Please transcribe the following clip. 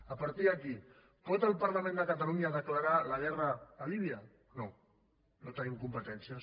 a partir d’aquí pot el parlament de catalunya declarar la guerra a líbia no no en tenim competències